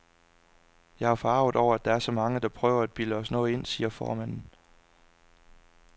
Jeg er forarget over, at der er så mange, der prøver at bilde os noget ind, siger formanden.